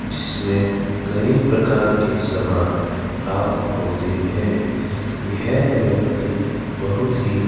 जिसमें कईं प्रकार के समान प्राप्त होते है यह व्यक्ति बहुत ही --